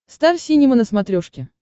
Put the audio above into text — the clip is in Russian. стар синема на смотрешке